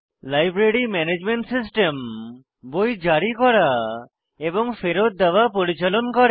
library management system বই জারি করা এবং ফেরৎ দেওয়া পরিচালন করে